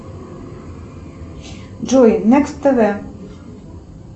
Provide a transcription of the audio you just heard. джой некст тв